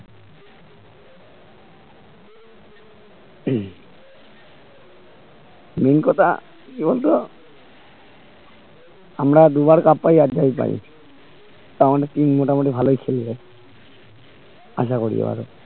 হম main কথা কি বলতো আমরা দুবার cup পায় তাও আমাদের team মোটামুটি ভালোই খেলবে আশা করি এবারে